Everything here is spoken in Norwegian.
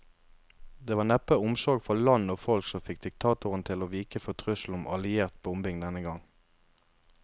Det var neppe omsorg for land og folk som fikk diktatoren til å vike for trusselen om alliert bombing denne gang.